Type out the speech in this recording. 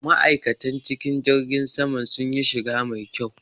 Ma'aikatan cikin jirgin saman sunyi shiga mai kyau.